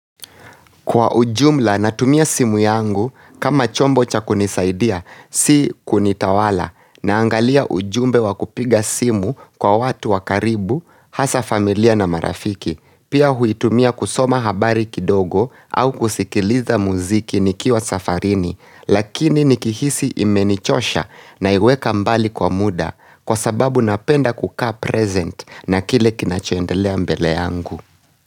Kwa ujumla na tumia simu yangu, kama chombo cha kunisaidia, si kunitawala, na angalia ujumbe wa kupiga simu kwa watu wakaribu, hasa familia na marafiki, pia huitumia kusoma habari kidogo au kusikiliza muziki nikiwa safarini, lakini nikihisi imenichosha na iweka mbali kwa muda, kwa sababu napenda kuka present na kile kinachoendelea mbele yangu.